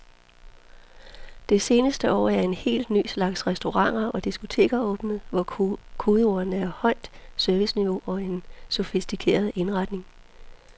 Det seneste år er en helt ny slags restauranter og diskoteker åbnet, hvor kodeordene er højt serviceniveau og en sofistikeret indretning.